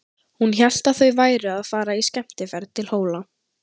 Hún hélt að þau væru að fara í skemmtiferð til Hóla.